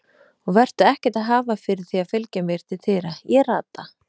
Og vertu ekkert að hafa fyrir því að fylgja mér til dyra, ég rata.